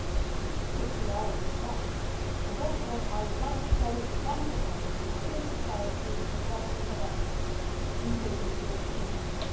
This should be our response and also I would like to call once again on civil society across the West, including the European Union.